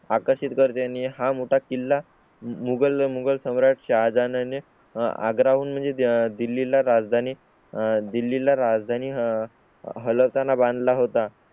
आकर्षित करत त्यांनी हा मोठा किल्ला मुगल मुगल सम्राट शाहजहान ने आग्रा हून म्हणजे दिल्ली ला राजधानी दिल्ली ला राजधानी हल ताना बांधला होता